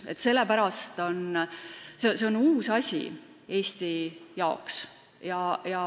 See on uus asi Eesti jaoks.